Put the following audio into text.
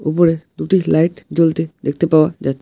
উপরে দুটি লাইট জ্বলতে দেখতে পাওয়া যাচ--